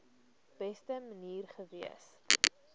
beste manier gewees